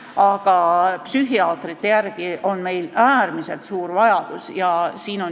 Aga psühhiaatrite järele on meil äärmiselt suur vajadus.